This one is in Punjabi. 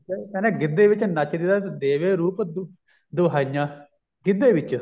ਕਹਿੰਦੇ ਗਿੱਧੇ ਵਿੱਚ ਨੱਚਦੀ ਦਾ ਦੇਖ ਕੇ ਰੂਪ ਦੁਹਾਈਆਂ ਗਿੱਧੇ ਵਿੱਚ